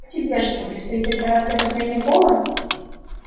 а тебе что предстоит операция по смене пола